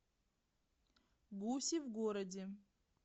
гуси в городе